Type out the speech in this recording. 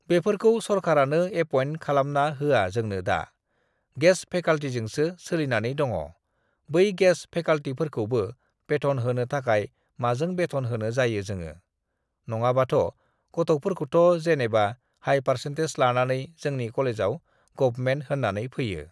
बेफोरखौ सरखारानो एपयेन्ट खालामना होवा जोंनो दा। गेस्ट फेकाल्टिजोंसो सोलिनानै दङ । बै गेस्ट फेकाल्टिफोरखौबो बेथन होनो थाखाय माजों बेथन होनो जायो जोङो। नङाबाथ' गथ'फोरखौथ' जेनेबा हाय पार्सेन्टेज लानानै जोंनि कलेजाव गभमेन्ट होननानै फैयो।